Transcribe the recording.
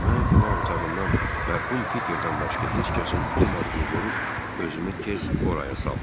Mən qonaq otağından mərhum Piterdən başqa heç kəsin olmadığını görüb özümü tez oraya saldım.